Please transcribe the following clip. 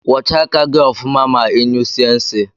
Kwọcha aka gi ọfụma ma inyụsie nsi.